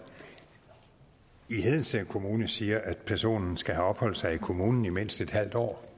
i hedensted kommune siger at personen skal have opholdt sig i kommunen i mindst en halv år